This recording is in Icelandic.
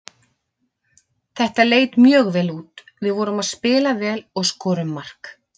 Þetta leit mjög vel út, við vorum að spila vel og skorum mark.